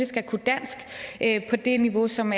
skal kunne dansk på det niveau som